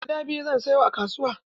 Adda biyu zan saya a kasuwa.